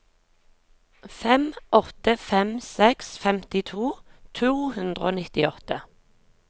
fem åtte fem seks femtito to hundre og nittiåtte